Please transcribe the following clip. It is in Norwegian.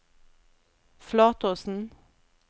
Flatåsen